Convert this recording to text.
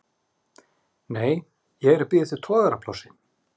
Nei, ég er að bíða eftir togaraplássi.